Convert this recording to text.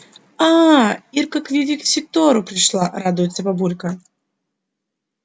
аа ирка к вивисектору пришла радуются бабулька